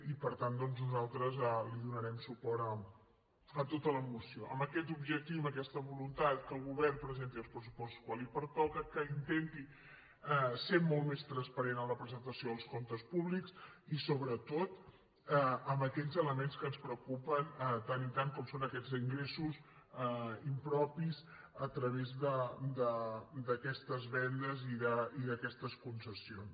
i per tant doncs nosaltres dona·rem suport a tota la moció amb aquest objectiu i amb aquesta voluntat que el govern presenti els pressuposts quan li pertoca que intenti ser molt més transparent en la presentació dels comptes públics i sobretot amb aquells elements que ens preocupen tant i tant com són aquests ingressos impropis a través d’aquestes ven·des i d’aquestes concessions